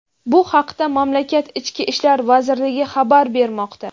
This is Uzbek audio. Bu haqda mamlakat Ichki ishlar vazirligi xabar bermoqda.